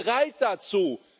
Seid bereit dazu!